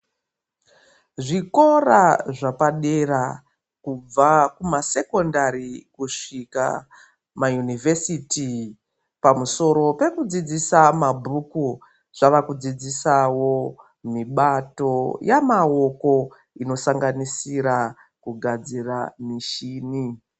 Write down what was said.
Zvikora zvapadera kubva kumasekondari kusvika kumayunivhesiti pamusoro pekudzidzisa mabhuku zvavakudzidzisawo mibato yamaoko inosanganisira kugadzira mishini .